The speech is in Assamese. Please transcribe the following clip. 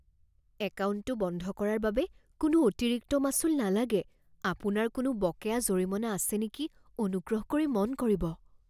একাউণ্টটো বন্ধ কৰাৰ বাবে কোনো অতিৰিক্ত মাচুল নালাগে। আপোনাৰ কোনো বকেয়া জৰিমনা আছে নেকি অনুগ্ৰহ কৰি মন কৰিব।